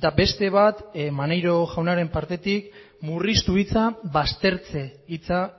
eta beste bat maneiro jaunaren partetik murriztu hitza baztertze hitza